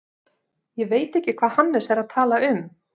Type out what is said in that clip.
Ég veit ekki hvað Hannes er að tala um.